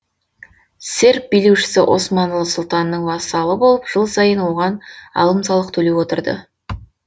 серб билеушісі османлы сұлтанының вассалы болып жыл сайын оған алым салық төлеп отырды